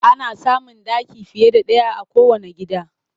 Ana samun ɗaki fiye da ɗaya a kowanne gida